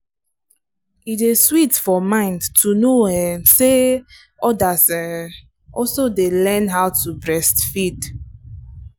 e day sweet for mind to know um say others um also day learn how to breastfeed.